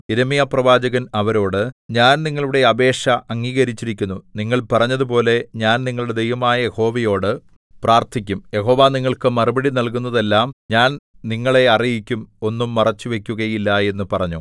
യിരെമ്യാപ്രവാചകൻ അവരോട് ഞാൻ നിങ്ങളുടെ അപേക്ഷ അംഗീകരിച്ചിരിക്കുന്നു നിങ്ങൾ പറഞ്ഞതുപോലെ ഞാൻ നിങ്ങളുടെ ദൈവമായ യഹോവയോടു പ്രാർത്ഥിക്കും യഹോവ നിങ്ങൾക്ക് മറുപടി നൽകുന്നതെല്ലാം ഞാൻ നിങ്ങളെ അറിയിക്കും ഒന്നും മറച്ചുവയ്ക്കുകയില്ല എന്ന് പറഞ്ഞു